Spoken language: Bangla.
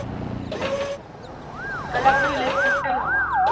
তাহলে আমাদের electric টাই হবে